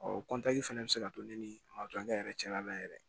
fɛnɛ bɛ se ka to ne ni matɔrɔn yɛrɛ cɛla la yɛrɛ